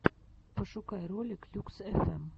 пошукай ролик люкс фм